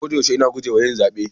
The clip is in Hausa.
A koyaushe ina guje wa yin zabe.